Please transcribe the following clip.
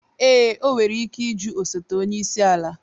Ee, o nwere ike ịjụ osote onye isi ala